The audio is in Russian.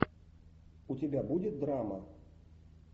у тебя будет драма